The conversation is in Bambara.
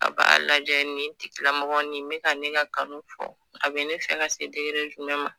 A b'a lajɛ nin bɛka ka ne ka kanu fɔ a bɛ ne fɛ ka se jumɛn ma?